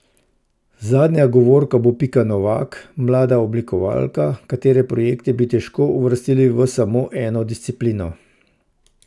Zadnja govorka bo Pika Novak, mlada oblikovalka, katere projekte bi težko uvrstili v samo eno disciplino.